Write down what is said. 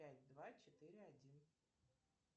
пять два четыре один